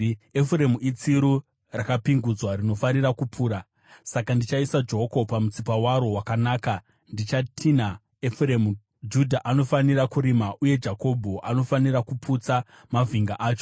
Efuremu itsiru rakapingudzwa rinofarira kupura; saka ndichaisa joko pamutsipa waro wakanaka. Ndichatinha Efuremu, Judha anofanira kurima, uye Jakobho anofanira kuputsa mavhinga acho.